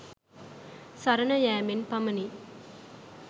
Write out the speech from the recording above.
සරණ යැමෙන් පමණි.